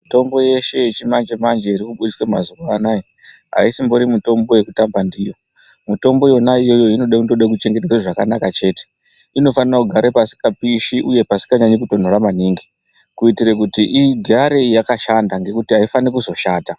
Mitombo yeshe yechimanje manje ikubudiswa mazuva anaya ,aisimbori mitombo yekutamba ndiyo .Mitombo yona iyoyo inotoda kuchengetedzwa zvakanaka chte. Inofanira kugara pasingapishi uye pasikanyanyi kutondora maningi kuitire kuti igare yakashanda nokuti aifanirwi kuzoshata.